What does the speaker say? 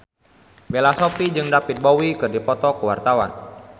Bella Shofie jeung David Bowie keur dipoto ku wartawan